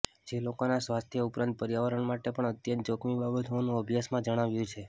જે લોકોના સ્વાસ્થ્ય ઉપરાંત પર્યાવરણ માટે પણ અત્યંત જોખમી બાબત હોવાનું અભ્યાસમાં જણાવાયું છે